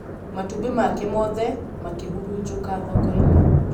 matũmbĩ make mothe makĩhurunjũka thoko-inĩ